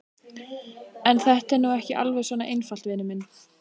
En þetta er nú ekki alveg svona einfalt, vinur minn.